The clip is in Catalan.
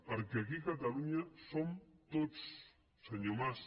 perquè aquí catalunya som tots senyor mas